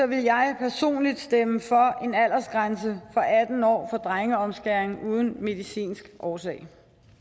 vil jeg personligt stemme for en aldersgrænse på atten år for drengeomskæring uden medicinsk årsag